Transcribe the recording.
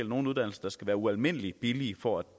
nogle uddannelser der skal være ualmindelig billige for at